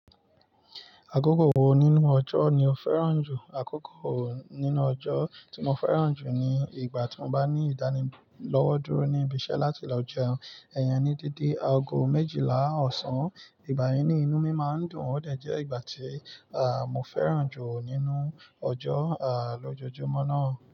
Àkókò wo nínú ọjọ́ ni o fẹ́ràn jù? Àkókò nínú ọjọ́ tí mo fẹ́ràn jù ni ìgbà tí mo bá ní ìdánilọ́wọ́ dúró ní ibi iṣẹ́ láti lọ jẹun. Iyen ní dede aago méjìlá ọ̀sán, ìgbà yẹn ni inú mi máa ń dùn. Ó dẹ̀ jẹ́ ìgbà tí, mo fẹ́ràn jù nínú ọjọ́, lójoojúmọ́ náà.